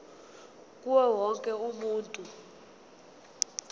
kuwo wonke umuntu